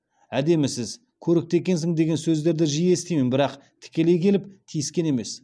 әдемісіз көрікті екенсің деген сөздерді жиі естимін бірақ тікелей келіп тиіскен емес